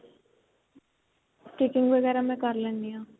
stitching ਵਗੈਰਾ ਮੈਂ ਕਰ ਲੈਂਨੀ ਆ